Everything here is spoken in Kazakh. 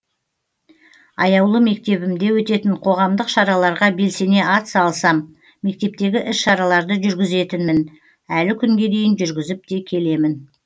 аяулы мектебімде өтетін қоғамдық шараларға белсене атсалысам мектептегі іс шараларды жүргізетінмін әлі күнге дейін жүргізіп те келемін